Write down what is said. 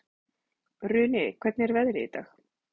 Runi, hvernig er veðrið í dag?